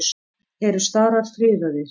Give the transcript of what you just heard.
Eru starar friðaðir?